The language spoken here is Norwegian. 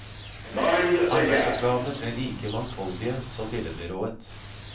Arbeidsoppgavene ble like mangfoldige som billedbyrået.